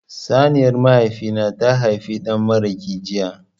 Saniyar mahaifi na ta haifi dan maraƙi jiya.